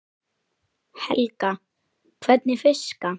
Helga: Hvernig fiska?